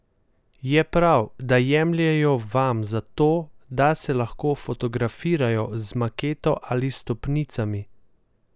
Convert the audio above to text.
Je prav, da jemljejo vam zato, da se lahko fotografirajo z maketo ali stopnicami?